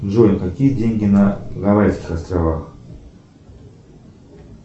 джой какие деньги на гавайских островах